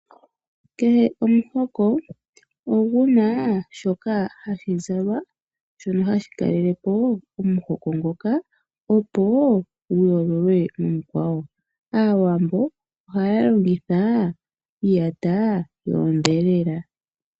Kehe omuhoko oguna shoka hashi zalwa shono hashi kalele po omuhoko ngoka opo gu yoololwe momikwawo. Aawambo ohaya longitha iiyata yoondhelela.